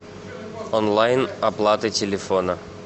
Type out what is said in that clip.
онлайн оплата телефона